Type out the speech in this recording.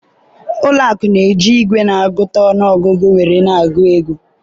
ụlọ akụ na-eji igwe na-agụta ọnụ ọgụgụ nwere agụ ego